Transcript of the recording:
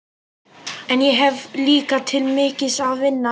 En ég hef líka til mikils að vinna.